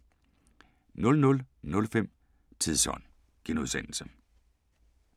00:05: Tidsånd *